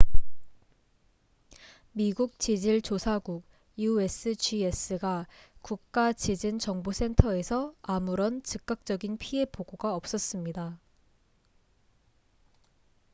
미국 지질 조사국usgs과 국가 지진 정보 센터에서 아무런 즉각적인 피해 보고가 없었습니다